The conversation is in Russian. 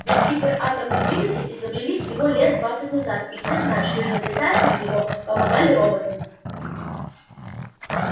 ведь гиператомный двигатель изобрели всего лет двадцать назад и все знают что изобретатель его помогали роботы